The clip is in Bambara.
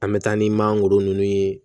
An bɛ taa ni mangoro ninnu ye